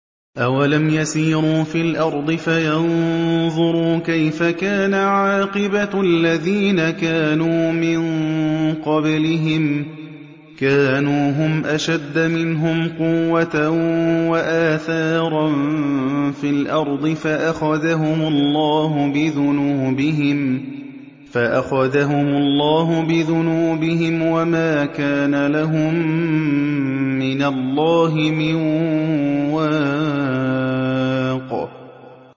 ۞ أَوَلَمْ يَسِيرُوا فِي الْأَرْضِ فَيَنظُرُوا كَيْفَ كَانَ عَاقِبَةُ الَّذِينَ كَانُوا مِن قَبْلِهِمْ ۚ كَانُوا هُمْ أَشَدَّ مِنْهُمْ قُوَّةً وَآثَارًا فِي الْأَرْضِ فَأَخَذَهُمُ اللَّهُ بِذُنُوبِهِمْ وَمَا كَانَ لَهُم مِّنَ اللَّهِ مِن وَاقٍ